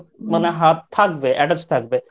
মানে হাত থাকবে Attached থাকবে।